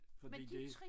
Fordi det